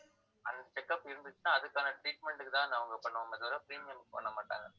அந்த check up இருந்துச்சுன்னா அதுக்கான treatment க்கு தான் அவங்க பண்ணுவோமே தவிர premium க்கு பண்ண மாட்டாங்க